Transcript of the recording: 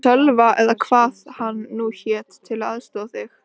Sölva eða hvað hann nú hét, til að aðstoða þig.